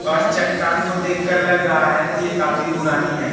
और चट्टान को देखकर लग रहा है कि ये काफी पुरानी हैं।